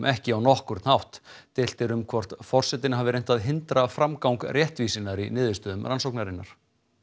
ekki á nokkurn hátt deilt er um hvort forsetinn hafi reynt að hindra framgang réttvísinnar í niðurstöðum rannsóknarinnar